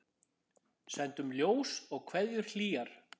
Sendum ljós og kveðjur hlýjar.